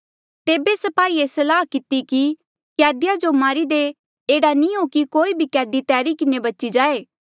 तेबे स्पाहिये सलाह किती कि कैदिया जो मारी दे एह्ड़ा नी हो कि कोई भी कैदी तैरी किन्हें बची जाए